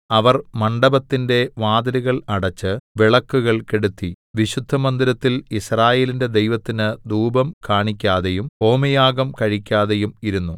അവർ മണ്ഡപത്തിന്റെ വാതിലുകൾ അടെച്ച് വിളക്കുകൾ കെടുത്തി വിശുദ്ധമന്ദിരത്തിൽ യിസ്രായേലിന്റെ ദൈവത്തിന് ധൂപം കാണിക്കാതെയും ഹോമയാഗം കഴിക്കാതെയും ഇരുന്നു